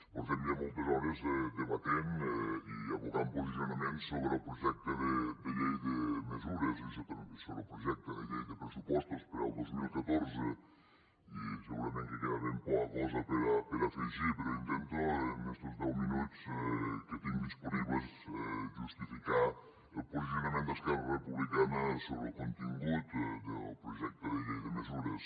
fa ja moltes hores que debatem i aboquem posicionaments sobre el projecte de llei de mesures i sobre el projecte de llei de pressupostos per al dos mil catorze i segurament que queda ben poca cosa per afegir però intento en estos deu minuts que tinc disponibles justificar el posicionament d’esquerra republicana sobre el contingut del projecte de llei de mesures